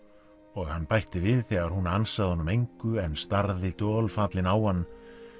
og hann bætti við þegar hún ansaði honum engu en starði dolfallinn á hann